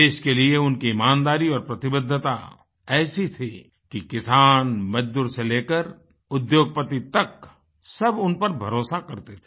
देश के लिए उनकी ईमानदारी और प्रतिबद्धता ऐसी थी कि किसान मजदूर से लेकर उद्योगपति तक सब उन पर भरोसा करते थे